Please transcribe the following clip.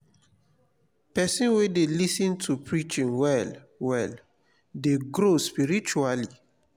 pesin wey dey lis ten to preaching well well dey grow spiritually.